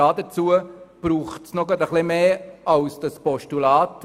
Dazu braucht es aber noch ein bisschen mehr als dieses Postulat.